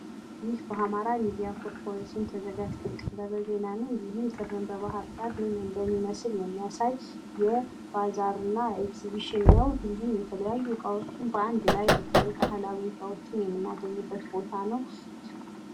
ይህ በአማራ ሚዲያ ኮርፖሬሽን ተዘጋጅቶ የቀረበ ዜና ነው። ይህም ጥርን በባህርዳር ምን እንደሚመስል የሚያሳይ የባዛርና ኤግዝቢሽን ነው። ይህም የተለያዩ እቃዎችን በአንድ ላይ በተለይ ባህላዊ እቃዎችን በአንድ ላይ በተለይ ባህላዊ እቃዎችን የምናገኝበት ቦታ ነው።